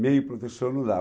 Meio professor não dá.